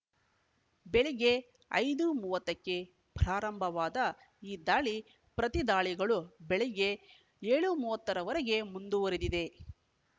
ಬೆಳಿಗ್ಗೆ ಐದು ಮೂವತ್ತಕ್ಕೆ ಪ್ರಾರಂಭವಾದ ಈ ದಾಳಿ ಪ್ರತಿದಾಳಿಗಳು ಬೆಳಿಗ್ಗೆ ಏಳು ಮೂವತ್ತ ರವರೆಗೆ ಮುಂದುವರೆದಿವೆ